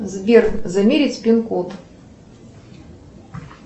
сбер замерить пин код